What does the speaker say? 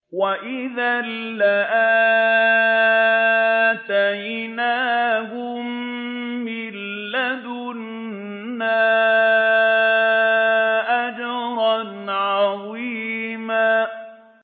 وَإِذًا لَّآتَيْنَاهُم مِّن لَّدُنَّا أَجْرًا عَظِيمًا